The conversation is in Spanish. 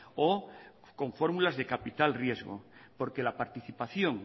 o con fórmulas de capital riesgo porque la participación